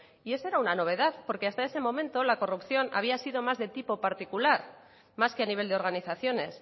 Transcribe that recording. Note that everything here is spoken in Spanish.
y esa era una novedad porque hasta ese momento la corrupción había sido más de tipo particular más que a nivel de organizaciones